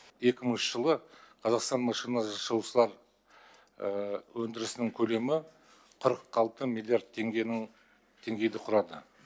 екі мыңыншы жылы қазақстан машина жасаушылар өндірісінің көлемі қырық алты миллиард теңгенің теңгейді құрады